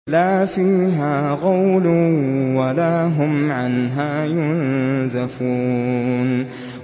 لَا فِيهَا غَوْلٌ وَلَا هُمْ عَنْهَا يُنزَفُونَ